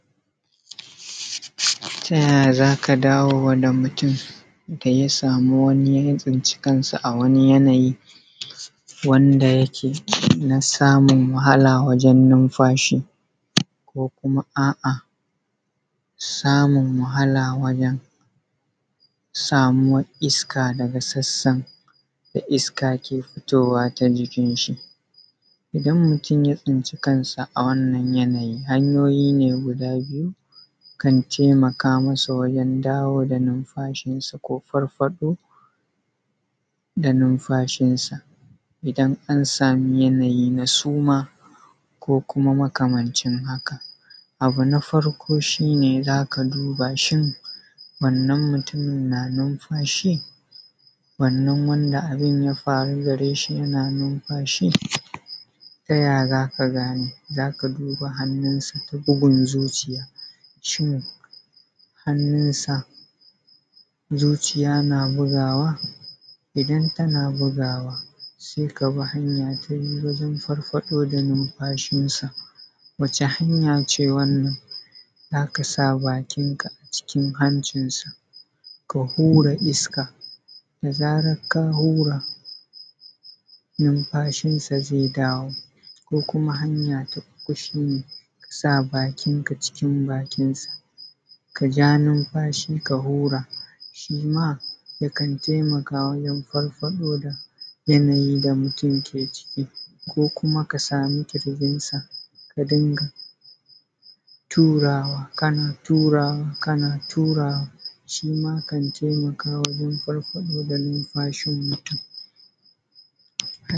Tayaya zaka dawo wa da mutum daya samu wani, ya tsinci kansa a wani yanayi wanda yake na samun wahala wajen numfashi? Ko kuma a’a samun wahala wajen samuwar iska daga sassan daga iska ke fitowa ta jikin shi? Idan mutum ya tsinci kansa a wannan yanayi, hanyoyi ne guda biyu kan temaka masa wajen dawo da numfashin sa ko farfaɗo da numfashin sa, idan an samu yanayi na suma ko kuma makamancin haka? Abu na farko shi ne zaka duba shin wannan mutumin na numfashi? Wannan wanda abun ya faru dashi yana numfashi? Taya zaka gane? Zaka duba hannunsa ta bugun zuciya, shin hannunsa zuciya na bugawa? Idan tana bugawa sai kabi hanya ta biyu wajen farfaɗo da numfashinsa. Wace hanya ce wannan? Zaka sa bakinka a cikin hancinsa ka hura iska, da zaran ka hura numfashin ze dawo ko kuma hanya ta uku shi ne, sa bakinka cikin bakin sa, kaja numfashi ka hura, shima yakan taimaka wajen farfaɗo da yanayi da mutum ke ciki. Ko kuma ka samu ƙirjinsa ka dunga turawa, kana turawa, kana turawa, shima kan taimaka wajen farfaɗo da numfashin mutum.